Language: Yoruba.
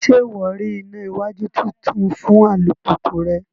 Ṣe iwọ rí ìnà iwájú títún fún alupupu rẹ?